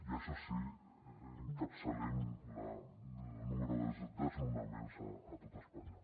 i això sí encapçalem el número de desnonaments a tot espanya